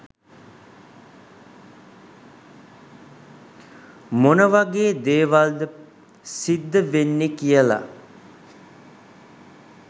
මොනවගේ දේවල්ද සිද්ධ වෙන්නෙ කියල